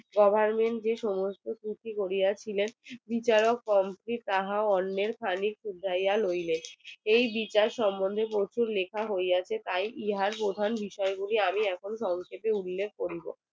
goverment যে সমস্ত চুক্তি করিয়া ছিল বিচারক গণ কে তাহার অন্যের খানিক উঠাইয়া লইলেন এই বিচার সম্মন্ধে প্রচুর লেখা হইয়াছে তাই ইহার প্রধান বিষয় গুলি আমি এখন সংক্ষেপে উল্লেখ করিব